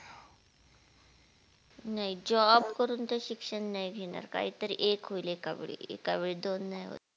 नाही job करून तर शिक्षण नाही घेणार काही तरी एक होइल एका वेळी, एका वेळी दोन नाही होत